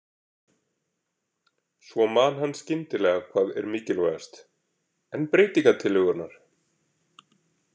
Svo man hann skyndilega hvað er mikilvægast: En breytingatillögurnar?